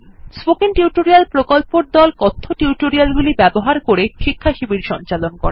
Tস্পোকেন tutorial প্রকল্পর দল কথ্য টিউটোরিয়াল গুলি ব্যবহার করে শিক্ষাশিবির সঞ্চালন করে